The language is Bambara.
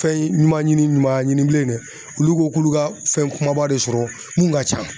Fɛn ɲuman ɲini ɲuman ɲini bilen nɛ olu ko k'olu ka fɛn kumaba de sɔrɔ mun ka can